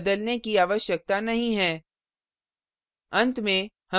अतः कुछ भी बदलने की आवश्यकता नहीं है